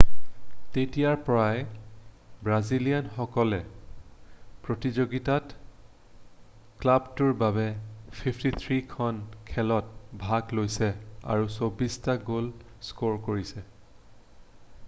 তেতিয়াৰ পৰাই ব্ৰাজিলিয়ানে সকলো প্ৰতিযোগিতাত ক্লাবটোৰ বাবে 53 খন খেলত ভাগ লৈছে আৰু 24 টা গ'ল স্ক'ৰ কৰিছে৷